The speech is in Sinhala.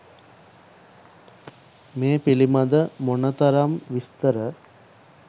මේ පිළිබඳ මොනතරම් විස්තර